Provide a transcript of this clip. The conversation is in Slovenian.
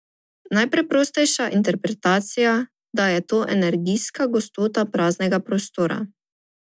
Najpreprostejša interpretacija, da je to energijska gostota praznega prostora.